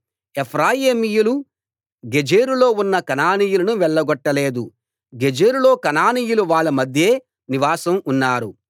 ఎఫ్రాయిమీయులు గెజెరులో ఉన్న కనానీయులను వెళ్లగొట్టలేదు గెజెరులో కనానీయులు వాళ్ళ మధ్యే నివాసం ఉన్నారు